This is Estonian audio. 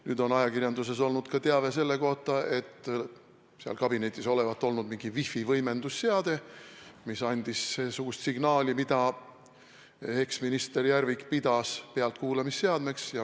Nüüd on ajakirjanduses olnud ka teave selle kohta, et seal kabinetis olevat olnud mingi wifi võimendusseade, mis andis signaali ja mida eksminister Järvik pidas pealtkuulamisseadmeks.